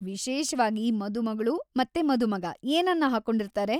ವಿಶೇಷ್ವಾಗಿ ಮದುಮಗ್ಳು ಮತ್ತೆ ಮದುಮಗ ಏನನ್ನ ಹಾಕೊಂಡಿರ್ತಾರೆ?